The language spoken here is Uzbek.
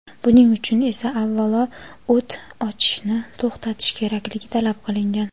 Buning uchun esa avvalo o‘t ochishni to‘xtatish kerakligi talab qilingan.